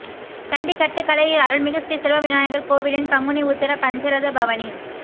கண்டி கட்டுக்கலை அருள்மிகு ஸ்ரீ செல்வவிநாயகர் கோவிலின் பங்குனி உத்தர பஞ்சரத பவனி